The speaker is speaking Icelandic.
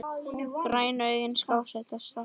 Grænu augun skásett að sökkva.